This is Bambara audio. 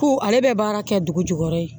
Ko ale bɛ baara kɛ dugujukɔrɔ ye